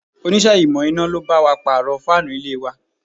Onise ìmò iná lo bá wa pàrọ̀ fáànù ilé wa